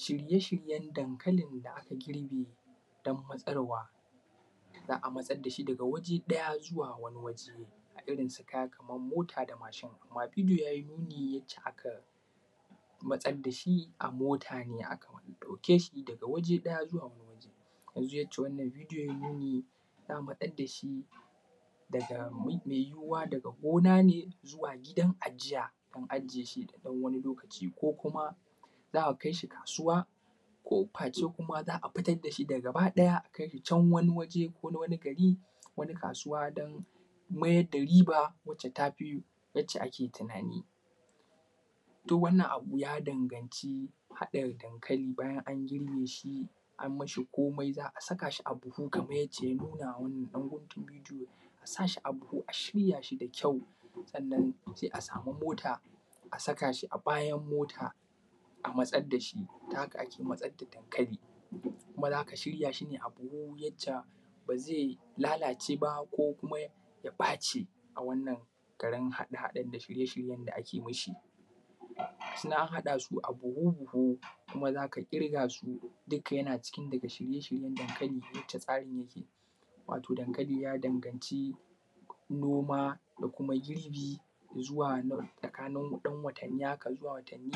Shirye shiryen dankali n da aka girbe don matsarwa, za a matsar da shi daga waje ɗaya zuwa wani waje. A irin su kamar mota da mashi. Amma idu ya yi nuni da yadda aka matsar da shi a mota ne, aka ɗauke shi daga wani waje ɗaya zuwa wani waje. Kamar yadda bidiyon ya nuna za a matsar da shi daga mai yuwuwa daga gona ne zuwa gidan ajiya. Na ɗanwani lokaci ko kuma za a kai shi kasuwa ƙofa ce kuma za a fitar da shi da gaba ɗaya a kai shi can waniwaje, ko wani gari ko wani kasuwa dan mayar da riba wacce ta fi wacce ake tunani. Duk wannan abu ya danganci haɗa dankali bayan an girbe shi, an ma shi komai za a saka shi a buhu kamar yadda ya nuna a wannnan ɗan guntun bidiyo. A sa shi a buhu a shirya da kyau, sannan sai a samu mota, a saka shi a bayan mota a matsad da shi, ta haka ake matsad da dankali. Kuma za ka shirya shi ne a buhu yadda, ba zai lalace ba, ko kuma ya ɓaci. A wannan taren haɗe-haɗen da shirye-shiryen da ake mashi. Ga su nan an haɗa su a buhu-buhu kuma za ka ƙirga su, duka yana cikin daga shirye-shiryen dankali haka tsarin yake. Wato dankali ya dangac noma da kuma girbi, zuwa na wani tsakanin ɗan watanni haka zuwa watanni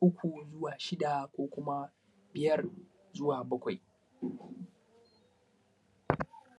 uku zuwa shida ko kuma biyar zuwa bakwai.